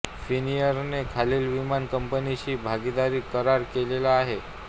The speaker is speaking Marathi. फिनएयरने खालील विमान कंपनीशी भागीदारी करार केलेले आहेत